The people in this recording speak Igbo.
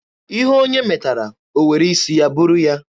Ihe onye metara, o were isi ya buru ya.